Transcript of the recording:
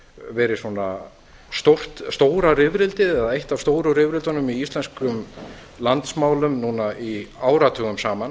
verið svona stóra rifrildið eða eitt af stóru rifrildunum í íslenskum landsmálum núna áratugum saman